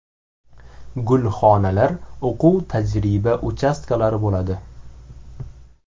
Gulxonalar, o‘quv-tajriba uchastkalari bo‘ladi.